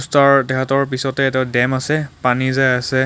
ওচৰত তেহেটৰ পিছতে এটা দেম আছে পানী যায় আছে.